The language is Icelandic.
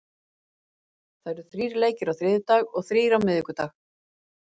Það eru þrír leikir á þriðjudag og þrír á miðvikudag.